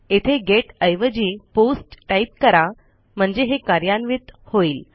येथे गेट एवजी post type करा म्हणजे हे कार्यान्वित होईल